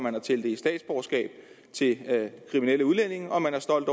at tildele statsborgerskab til kriminelle udlændinge og at man er stolt